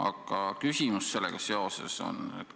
Aga küsimus sellega seoses on selline.